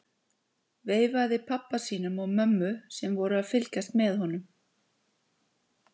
Veifaði pabba sínum og mömmu sem voru að fylgjast með honum.